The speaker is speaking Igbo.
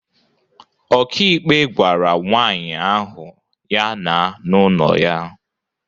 Ọkàikpe gwara nwaanyị ahụ ya na n'ụlọ ya